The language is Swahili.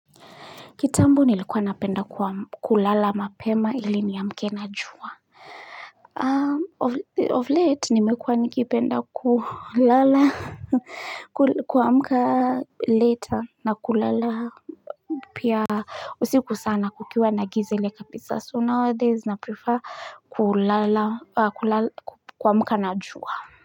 Kitambo nilikuwa napenda kulala mapema ili niamke na jua of late nimekuwa nikipenda kulala kuamka later na kulala pia usiku sana kukiwa nagiza ile kabisa so now days na prefer kulala kuamka na jua.